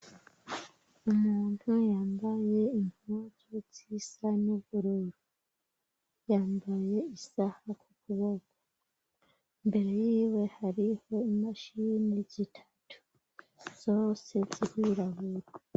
Umuntu yambaye intuzu z'isa n'ugururo yambaye isaha k'u kuboka imbere yiwe hariho imashi bindi zitatu zosezigiraburwa.